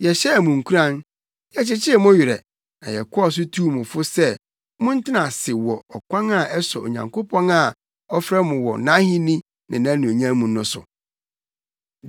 Yɛhyɛɛ mo nkuran; yɛkyekyee mo werɛ na yɛkɔɔ so tuu mo fo sɛ montena ase wɔ ɔkwan a ɛsɔ Onyankopɔn a ɔfrɛ mo wɔ nʼahenni ne nʼanuonyam mu no so.